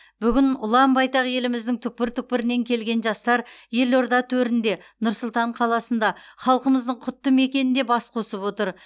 бүгін ұлан байтақ еліміздің түпкір түпкірінен келген жастар елорда төрінде нұр сұлтан қаласында халқымыздың құтты мекенінде бас қосып отыр